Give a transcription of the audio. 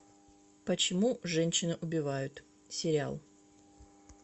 почему женщины убивают сериал